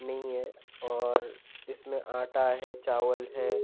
नई है और इसमें आटा है चावल है।